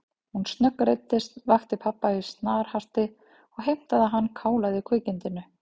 Hún snöggreiddist, vakti pabba í snarhasti og heimtaði að hann kálaði kvikindinu.